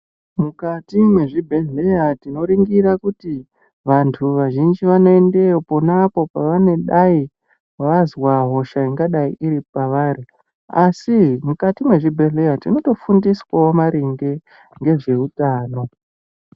Mukati mezvi bhedhleya tino ningira kuti vantu vazhinji vano endeyo ponapo pavanodai vanzwa hosha inga dai iri pavari asi mukati mezvi bhedhleya tinoto fundiswawo maringe ngezve utano.